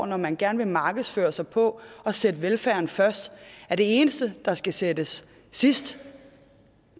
når man gerne vil markedsføre sig på at sætte velfærden først at det eneste der skal sættes sidst